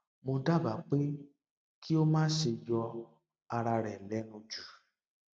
mo dábàá pé kí o má ṣe yọ ara rẹ lẹnu jù